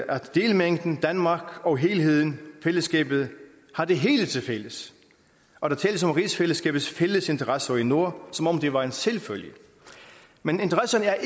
at delmængden danmark og helheden fællesskabet har det hele tilfælles og der tales om rigsfællesskabets fælles interesser i nord som om det var en selvfølge men interesserne er